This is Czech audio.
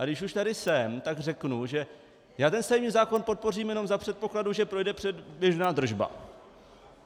A když už tady jsem, tak řeknu, že já ten stavební zákon podpořím jenom za předpokladu, že projde předběžná držba.